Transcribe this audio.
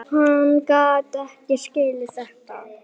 Hann gat ekki skilið þetta.